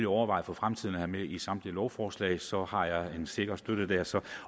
overveje for fremtiden at have med i samtlige lovforslag for så har jeg en sikker støtte dér så